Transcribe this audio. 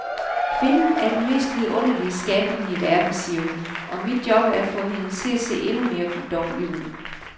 Kvinden er den mest vidunderlige skabning i verden, siger hun, og mit job er at få hende til at se endnu mere guddommelig ud.